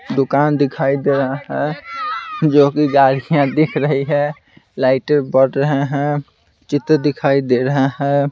दुकान दिखाई दे रहा है जो कि गाड़ियां दिख रही है लाइटें बड़ रहे हैं चित्र दिखाई दे रहा है।